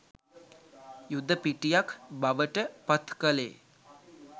යුද පිටියක් බවට පත් කළේ